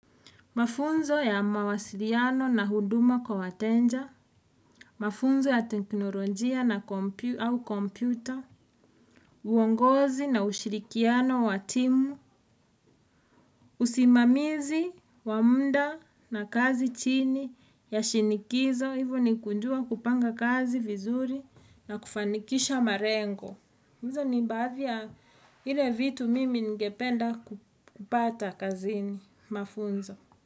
Mafunzo ya mawasiliano na huduma kwa wateja, mafunzo ya teknolonjia na kompyuta, uongozi na ushirikiano wa timu, usimamizi, wa muda na kazi chini, ya shinikizo, hivyo ni kujua kupanga kazi vizuri na kufanikisha malengo. Hizo ni baadhi ya ile vitu mimi ningependa kupata kazini, mafunzo.